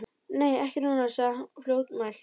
Nei, ekki núna, sagði hún fljótmælt.